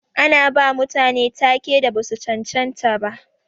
Ana bawa mutane ta-ke da basu cancanta ba.